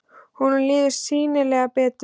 Honum líður sýnilega betur.